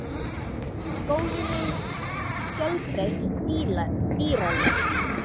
Í skóginum er mjög fjölbreytt dýralíf.